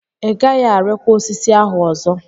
Ị gaghị arịkwa osisi ahụ ọzọ!